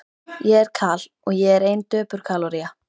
Ég er Kal, og ég er ein döpur kaloría.